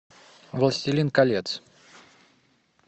властелин колец